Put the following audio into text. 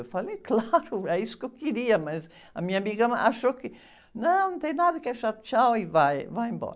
Eu falei, claro, é isso que eu queria, mas a minha amiga achou que, não, não tem nada que achar, tchau e vai, vai embora.